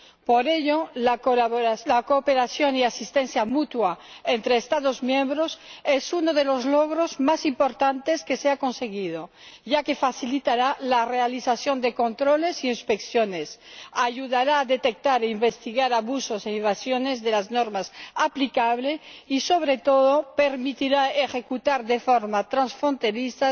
Por ello, la cooperación y asistencia mutua entre Estados miembros es uno de los logros más importantes, ya que facilitará la realización de controles e inspecciones, ayudará a detectar e investigar abusos e infracciones de las normas aplicables y, sobre todo, permitirá ejecutar de forma transfronteriza